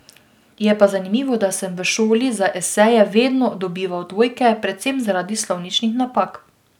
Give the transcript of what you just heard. Je pa zanimivo, da sem v šoli za eseje vedno dobival dvojke, predvsem zaradi slovničnih napak.